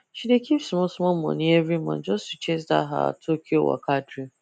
she dey keep smallsmall money every month just to chase that her tokyo waka dream